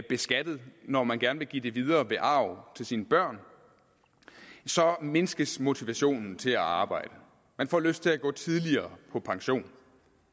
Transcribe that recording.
beskattet når man gerne vil give det videre ved arv til sine børn så mindskes motivationen til at arbejde man får lyst til at gå tidligere på pension